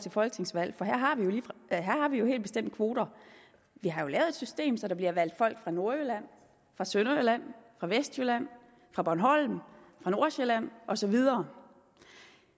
et folketingsvalg for her har vi jo helt bestemt kvoter vi har jo lavet et system så der bliver valgt folk fra nordjylland fra sønderjylland fra vestjylland fra bornholm fra nordsjælland og så videre